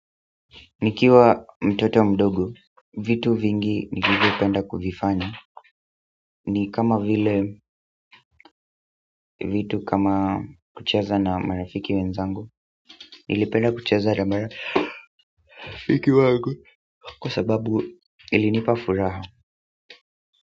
Nikiwa mtoto mdogo vitu vingi nilivyopenda kuvifanya ni kama vile vitu kama kucheza na marafiki wenzangu nilipenda kucheza na marafiki wangu kwa sababu ilinipa furaha.